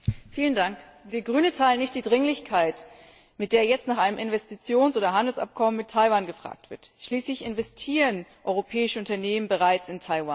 Herr Präsident! Wir als Grüne teilen nicht die Dringlichkeit, mit der jetzt nach einem Investitions oder Handelsabkommen mit Taiwan gefragt wird. Schließlich investieren europäische Unternehmen bereits in Taiwan.